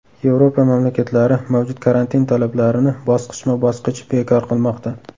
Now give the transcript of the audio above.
Yevropa mamlakatlari mavjud karantin talablarini bosqichma-bosqich bekor qilmoqda.